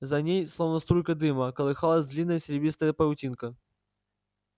за ней словно струйка дыма колыхалась длинная серебристая паутинка